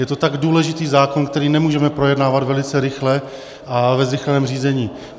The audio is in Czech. Je to tak důležitý zákon, který nemůžeme projednávat velice rychle a ve zrychleném řízení.